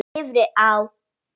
Niðri á